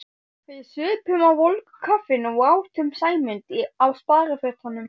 Við supum á volgu kaffinu og átum Sæmund á sparifötunum.